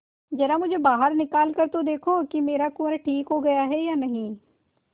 जरा मुझे बाहर निकाल कर देखो कि मेरा कुंवर ठीक हो गया है या नहीं